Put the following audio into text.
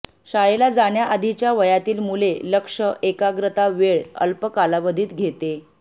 शाळेला जाण्या आधीच्या वयातील मुले लक्ष एकाग्रता वेळ अल्प कालावधीत घेते